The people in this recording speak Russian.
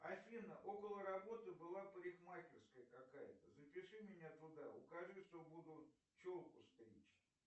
афина около работы была парикмахерская какая то запиши меня туда укажи что буду челку стричь